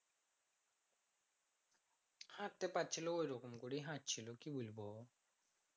হাঁটতে পারছিলো ওরম করেই হাঁটছিল কি বলব